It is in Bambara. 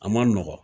A man nɔgɔn